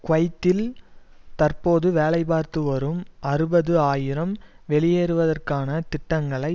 குவைத்தில் தற்போது வேலைபார்த்து வரும் அறுபது ஆயிரம் வெளியேற்றுவதற்கான திட்டங்களை